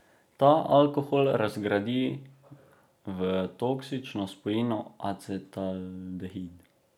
Ta alkohol razgradi v toksično spojino acetaldehid.